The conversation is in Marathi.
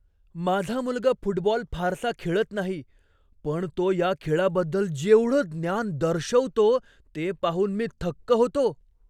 माझा मुलगा फुटबॉल फारसा खेळत नाही पण तो या खेळाबद्दल जेवढं ज्ञान दर्शवतो ते पाहून मी थक्क होतो.